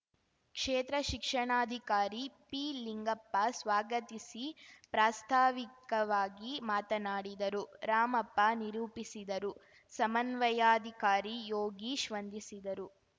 ಕ್ಷೇತ್ರ ಶಿಕ್ಷಣಾಧಿಕಾರಿ ಪಿಲಿಂಗಪ್ಪ ಸ್ವಾಗತಿಸಿ ಪ್ರಾಸ್ತಾವಿಕವಾಗಿ ಮಾತನಾಡಿದರು ರಾಮಪ್ಪ ನಿರೂಪಿಸಿದರು ಸಮನ್ವಯಾಧಿಕಾರಿ ಯೋಗೀಶ್‌ ವಂದಿಸಿದರು